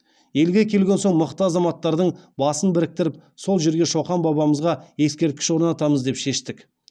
елге келген соң мықты азаматтардың басын біріктіріп сол жерге шоқан бабамызға ескерткіш орнатамыз деп шештік